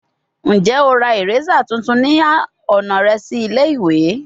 Njẹ o ra eraser tuntun ni ọna rẹ si ile-iwe?